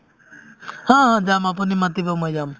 অ অ যাম আপুনি মাতিব মই যাম